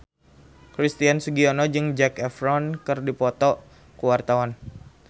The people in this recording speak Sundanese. Christian Sugiono jeung Zac Efron keur dipoto ku wartawan